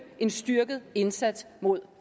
en styrket indsats mod